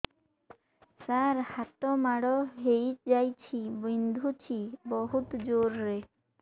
ସାର ହାତ ମାଡ଼ ହେଇଯାଇଛି ବିନ୍ଧୁଛି ବହୁତ ଜୋରରେ